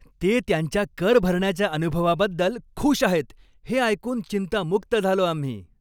ते त्यांच्या कर भरण्याच्या अनुभवाबद्दल खुश आहेत हे ऐकून चिंतामुक्त झालो आम्ही.